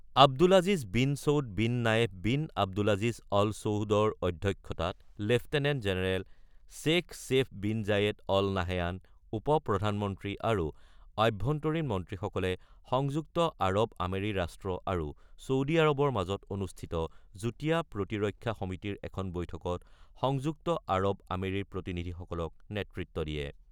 Abdul Aziz bin Saud bin Nayef bin Abdulaziz Al চৌদৰ অধ্যক্ষতাত lieutenant general Sheikh Saif bin Zayed Al Nahyan, উপ প্ৰধানমন্ত্ৰী আৰু আভ্যন্তৰীণ মন্ত্ৰীসকলে সংযুক্ত আৰৱ আমেৰী ৰাষ্ট্ৰ আৰু চৌদি আৰৱৰ মাজত অনুষ্ঠিত যুটীয়া প্ৰতিৰক্ষা সমিতিৰ এখন বৈঠকত সংযুক্ত আৰৱ আমেৰীৰ প্ৰতিনিধিসকলক নেতৃত্ব দিয়ে।